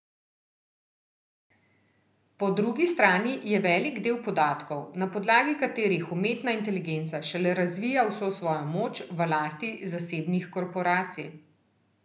Po drugi strani je velik del podatkov, na podlagi katerih umetna inteligenca šele razvija vso svojo moč, v lasti zasebnih korporacij.